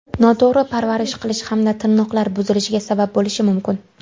Noto‘g‘ri parvarish qilish ham tirnoqlar buzilishiga sabab bo‘lishi mumkin.